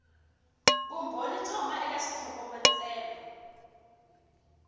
vumbhoni byo huma eka xitlhokovetselo